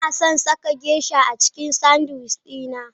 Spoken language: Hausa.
Ina son saka Geisha a cikin sanwici na.